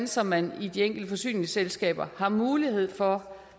så man i de enkelte forsyningsselskaber har mulighed for